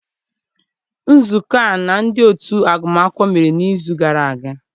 Nzukọ a na ndị otu agụmakwụkwọ mere n'izu gara aga.